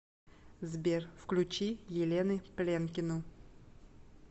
сбер включи елены пленкину